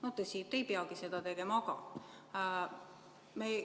Tõsi, te ei peagi seda tegema.